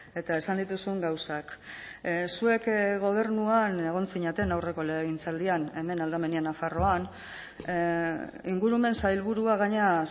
eta esan dituzun gauzak zuek gobernuan egon zineten aurreko legegintzaldian hemen aldamenean nafarroan ingurumen sailburua gainera